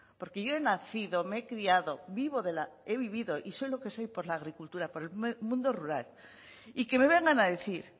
porque yo he nacido me he criado vivo de la y he vivido y soy lo que soy por la agricultura por el mundo rural y que me vengan a decir